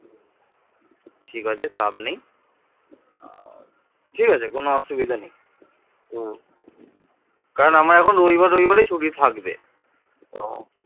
থরের অভাবে প্রাচীন বাংলার মানুষ সম্ভবত কাঠ ও বাঁশের মতো উপকরণ ব্যবহার করত যা সময়ের সাথে সাথে টিকে থাকতে পারে নি